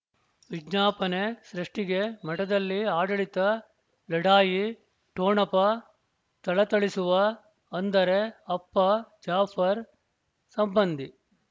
ವಿಜ್ಞಾಪನೆ ಸೃಷ್ಟಿಗೆ ಮಠದಲ್ಲಿ ಆಡಳಿತ ಲಢಾಯಿ ಠೊಣಪ ಥಳಥಳಿಸುವ ಅಂದರೆ ಅಪ್ಪ ಜಾಫರ್ ಸಂಬಂಧಿ